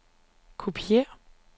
kopiér